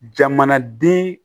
Jamanaden